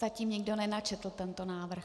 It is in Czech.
Zatím nikdo nenačetl tento návrh.